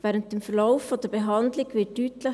Während dem Verlauf der Behandlung wird deutlich: